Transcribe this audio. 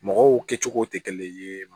Mɔgɔw kɛ cogo tɛ kelen ye